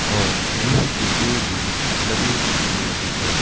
और बिही के पेड़ भी लगे हुए है।